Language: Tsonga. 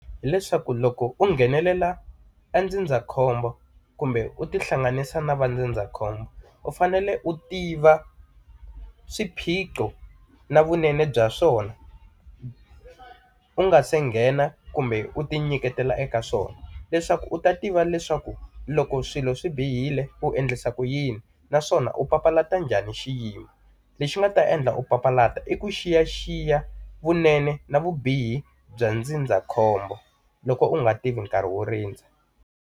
Hi leswaku loko u nghenelela e ndzindzakhombo kumbe u tihlanganisa na va ndzindzakhombo u fanele u tiva swiphiqo na vunene bya swona, u nga se kha nghena kumbe u ti nyiketela eka swona. Leswaku u ta tiva leswaku loko swilo swi bihile u endlisa ku yini, naswona u papalata njhani xiyimo. Lexi u nga ta endla ku papalata i ku xiyaxiya vunene na vubihi bya ndzindzakhombo loko u nga tivi nkarhi wo rindza.